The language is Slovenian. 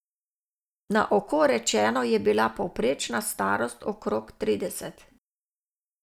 Na oko rečeno je bila povprečna starost okrog trideset.